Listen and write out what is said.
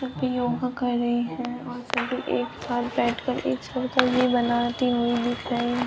एक व्यक्ति योगा कर रहे हैं और सभी एक साथ बैठकर एक सर्कल बनाती हुई दिख रही हैं।